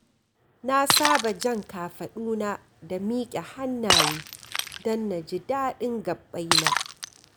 Na saba jan kafaɗuna da miƙa hannaye don na ji daɗin gaɓɓai na.